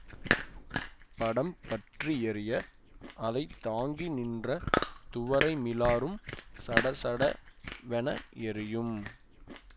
படம் பற்றியெரிய அதைத்தாங்கி நின்ற துவரை மிலாறும் சட சட வென எரியும்